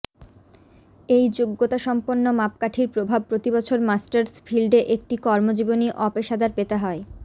এই যোগ্যতাসম্পন্ন মাপকাঠির প্রভাব প্রতিবছর মাস্টার্স ফিল্ডে একটি কর্মজীবনী অপেশাদার পেতে হয়